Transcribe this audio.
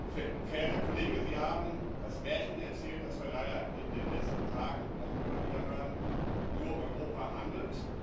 Verehrter Kollege, Sie haben das Märchen erzählt, das wir leider in den letzten Tagen und Wochen immer wieder hören Nur Europa handelt.